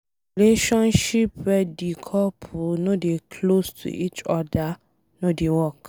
Relationship wey de couple no dey close to each oda no dey work.